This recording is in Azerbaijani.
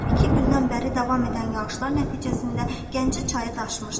İki gündən bəri davam edən yağışlar nəticəsində Gəncə çayı daşmışdı.